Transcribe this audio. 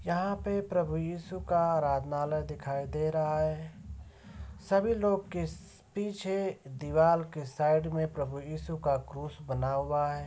यहाँ पे प्रभु ईशु का आराधनालय दिखाई दे रहा है। सभी लोग किस पीछे दिवाल के साइड में प्रभु ईशु का क्रुश बना हुआ है।